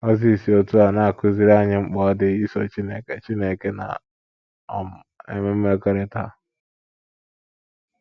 Mozis si otú a na - akụziri anyị mkpa ọ dị iso Chineke Chineke na um - enwe mmekọrịta.